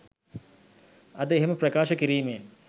අද එහෙම ප්‍රකාශ කිරීමෙන්